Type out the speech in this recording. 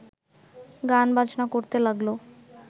গান-বাজনা করতে লাগল